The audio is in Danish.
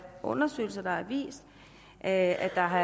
undersøgelser der har vist at der har